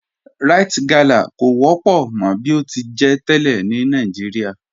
Ríte galá kọ wọ́pọ̀ mọ̀ bí o ti jẹ́ tẹ́lẹ̀ ni Nàìjíríà